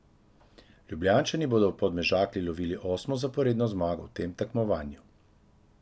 Ljubljančani bodo v Podmežakli lovili osmo zaporedno zmago v tem tekmovanju.